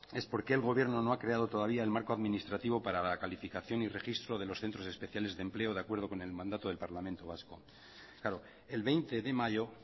es por qué el gobierno no ha creado todavía el marco administrativo para la calificación y registro de los centros especiales de empleo de acuerdo con el mandato del parlamento vasco claro el veinte de mayo